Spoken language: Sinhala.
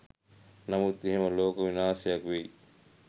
නමුත් එහෙම ලෝක විනාශයක් වෙයි